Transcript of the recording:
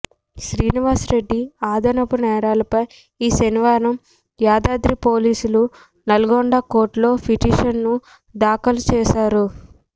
శ్రీనివాసరెడ్డి అదనపు నేరాలపై ఈ శనివారం యాదాద్రి పోలీసులు నల్గొండ కోర్టులో పిటిషన్ను దాఖలు చేశారు